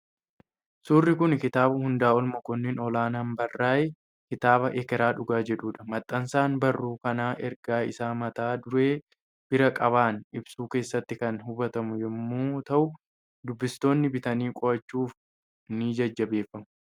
Suurri kun kitaaba Hundaa'ol Mokonnin Olaanaan barraa'e, kitaaba "Ekeraa Dhugaa" jedhudha. Maxxansaan barruu kanaa ergaa isaa mata duree bir-qabaan ibsu keessatti kan hubatamu yommuu ta'u, dubbistoonni bitanii qo'achuyf ni jajjabeeffamu.